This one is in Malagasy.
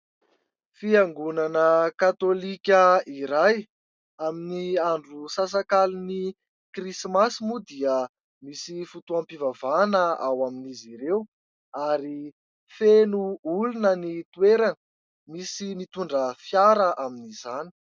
Fiangonana katolika iray, amin'ny andro sasak'aliny krismasy moa dia misy fotoam-pivavahana ao amin'izy ireo ary feno olona ny toerana misy nitondra fiara amin'izany.